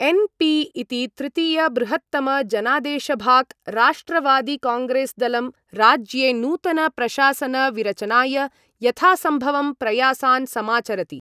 N P इति तृतीयबृहत्तमजनादेशभाक् राष्ट्रवादिकांग्रेस्दलं राज्ये नूतनप्रशासनविरचनाय यथासम्भवं प्रयासान् समाचरति।